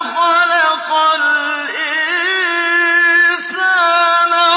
خَلَقَ الْإِنسَانَ